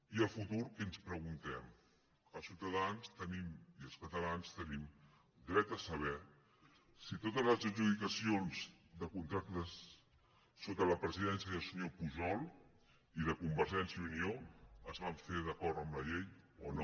i el futur què ens preguntem els ciutadans tenim i els catalans tenim dret a saber si totes les adjudicacions de contractes sota la presidència del senyor pujol i de convergència i unió es van fer d’acord amb la llei o no